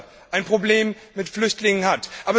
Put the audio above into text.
Malta ein Problem mit Flüchtlingen hat.